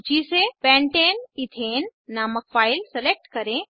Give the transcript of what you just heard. सूची से pentane ethane नामक फाइल सेलेक्ट करें